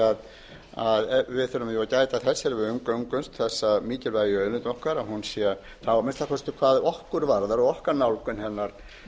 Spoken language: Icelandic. þegar við umgöngumst þessa mikilvægu auðlind okkar að hún sé að minnsta kosti hvað okkur varðar og okkar nálgun hennar